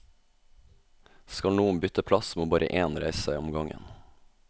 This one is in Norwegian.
Skal noen bytte plass, må bare én reise seg om gangen.